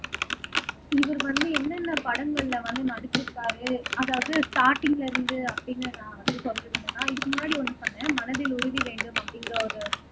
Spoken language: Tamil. இவர் வந்து என்னென்ன படங்கள்ல வந்து நடிச்சிருக்காரு அதாவது ஸ்டார்டிங்ல இருந்து அப்படின்னு நான் வந்து சொல்றது என்னன்னா இதுக்கு முன்னாடி ஒண்ணு பண்ணேன் மனதில் உறுதி வேண்டும் அப்படிங்கிற ஒரு